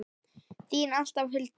Þín alltaf, Hulda.